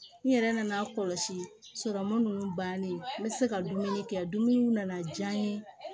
N yɛrɛ nana kɔlɔsi sɔrɔmu ninnu bannen n bɛ se ka dumuni kɛ dumuniw na na diya n ye